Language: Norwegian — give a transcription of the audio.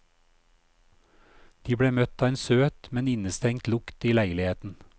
De ble møtt av en søt, men innestengt lukt i leiligheten.